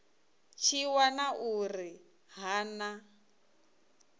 tshi wana uri ha na